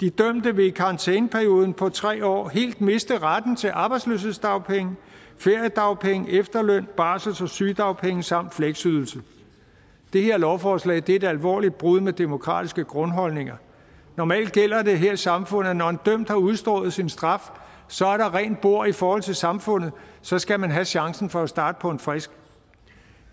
de dømte vil i karantæneperioden på tre år helt miste retten til arbejdsløshedsdagpenge feriedagpenge efterløn barsels og sygedagpenge samt fleksydelse det her lovforslag er et alvorligt brud med demokratiske grundholdninger normalt gælder det her i samfundet at når en dømt har udstået sin straf så er der rent bord i forhold til samfundet så skal man have chancen for starte på en frisk